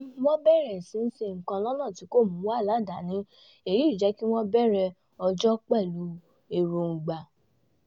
wọ́n bẹ̀rẹ̀ sí í ṣe nǹkan lọ́nà tí kò mú wàhálà dání èyí jẹ́ kí wọ́n bẹ̀rẹ̀ ọjọ́ pẹ̀lú èròńgbà